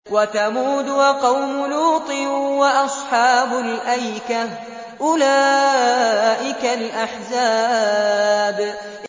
وَثَمُودُ وَقَوْمُ لُوطٍ وَأَصْحَابُ الْأَيْكَةِ ۚ أُولَٰئِكَ الْأَحْزَابُ